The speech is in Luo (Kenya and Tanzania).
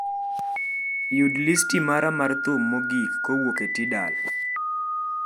yud listi mara mar thum mogik kowuok e tidal